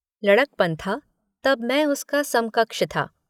लड़कपन था तब मैं उसका समकक्ष था।